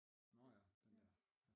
Nåh ja den der